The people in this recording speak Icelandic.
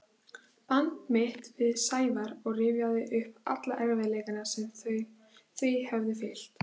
band mitt við Sævar og rifjaði upp alla erfiðleikana sem því höfðu fylgt.